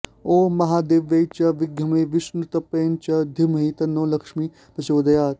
ॐ महादेव्यै च विद्महे विष्णुपत्न्यै च धीमहि तन्नो लक्ष्मीः प्रचोदयात्